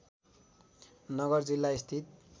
नगर जिल्ला स्थित